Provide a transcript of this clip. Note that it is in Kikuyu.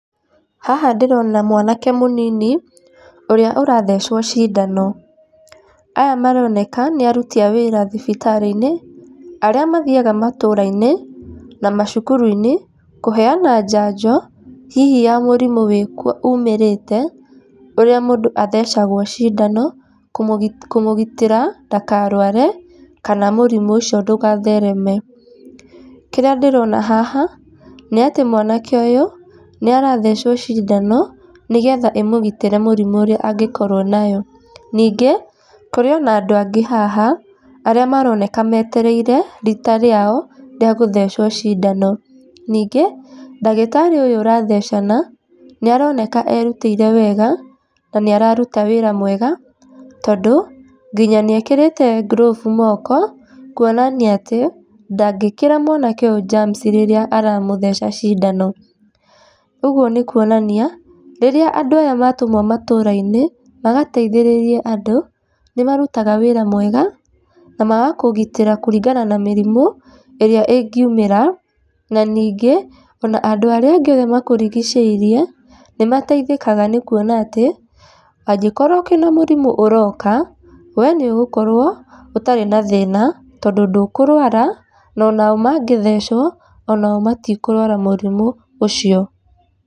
Haha ndĩrona mwanake mũnini ũrĩa ũrathecwo ciindano, aya maroneka nĩ aruti a wĩra thibitarĩ-inĩ arĩa mathiaga matũũra-inĩ na macukuru-inĩ, kũheeana njanjo hihi ya mũrimũ wĩkuo umĩrĩte ũrĩa mũndũ athecagwo ciindano kũmũgitĩra ndakarware, kana mũrimũ ũcio ndũgathereme. Kĩrĩa ndĩrona haha nĩ atĩ mwanake ũyũ nĩarathecwo ciindano, nĩgetha ĩmũgitĩre mũrimũ ũrĩa angĩkorwo naguo. Ningĩ kũrĩ ona andũ angĩ haha arĩa maroneka metereire rita rĩao rĩa gũthecwo ciindano. Ningĩ ndagĩtarĩ ũyũ ũrathecana nĩaroneka erutĩire wega na nĩararuta wĩra mwega tondũ, nginya nĩekĩrĩte ngulũbu mooko kuonania atĩ ndangĩkĩra mwanake ũyũ njamuci rĩrĩa aramũtheca cindano. Ũguo nĩ kuonania rĩrĩa andũ aya matũmwo matũũra-inĩ magateithĩrĩrie andũ, nĩ marutaga wĩra mwega na magakũgitĩra kũringana na mĩrimũ ĩrĩa ĩngĩumĩra, na ningĩ ona andũ arĩa angĩ othe makũrigicĩirie nĩ mateithĩkaga nĩ kuona atĩ, angĩkorwo kwĩna mũrimũ ũroka we nĩ ũgũkorwo ũtarĩ na thĩna tondũ ndũkũrwara na onao mangĩthecwo onao matikũrwara mũrimũ ũcio.